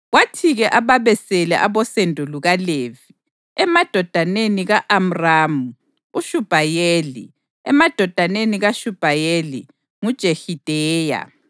Kwathi-ke ababesele abosendo lukaLevi: emadodaneni ka-Amramu: uShubhayeli; emadodaneni kaShubhayeli: nguJehideya.